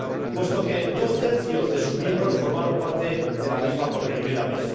puesto que dos tercios de sus miembros forman parte de la misma por primera vez.